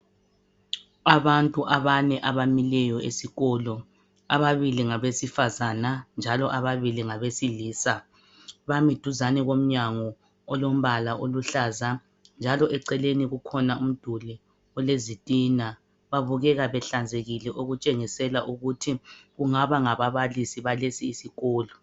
Abantu abane abamileyo esikolo .Ababili ngabesifazana njalo ababili ngabesilisa bami duzane komnyango olombala oluhlaza .Njalo eceleni kukhona umduli ole zitina .Babukeka behlanzekile okutshengisela ukuthi kungaba ngababalisi abakulesi isikolo.